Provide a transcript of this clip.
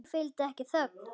Því fylgdi ekki þögn.